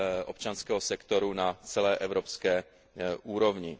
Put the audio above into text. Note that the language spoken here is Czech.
občanského sektoru na celé evropské úrovni.